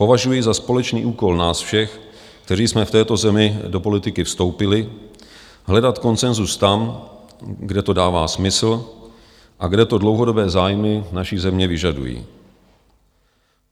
Považuji za společný úkol nás všech, kteří jsme v této zemi do politiky vstoupili, hledat konsenzus tam, kde to dává smysl a kde to dlouhodobé zájmy naší země vyžadují.